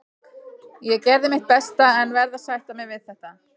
Ég gerði mitt besta en verð að sætta mig við þetta.